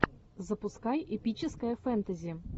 запускай эпическое фэнтези